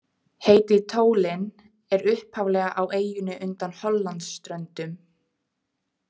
Heitið Tholen er upphaflega á eyju undan Hollandsströndum.